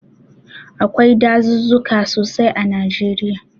Akwai dazuzzuka sosai a Najeriya.